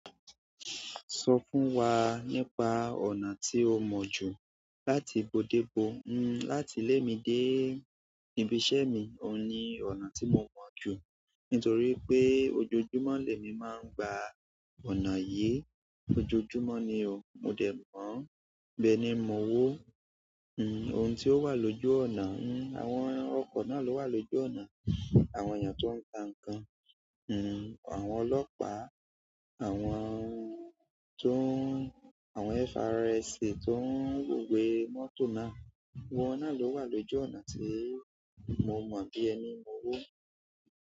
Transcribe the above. Sọ fún wa nípa ọ̀nà tí o mọ̀ jù láti bodébò. N, láti lé mi dé? Ibi iṣẹ́ mi, òun ni ọ̀nà tí mo mọ̀ jù. Nítorí pé ojoojúmọ́ lẹ́mi máa ń gba ọ̀nà yìí. Ojoojúmọ́ ni o. Mo de moo, ibe ni mooo ooo n, àwọn ọkọ̀ náà ló wà lójú ọ̀nà, àwọn èèyàn tó ń ta nǹkan, n, àwọn ọlọ́pàá, àwọn tó ń-- àwọn FRSC tó ń wówe mọ́tò náà. Gbogbo wọ́n náà ló wà lójú ọ̀nà tí mo mọ̀ bí ẹni mo wọ.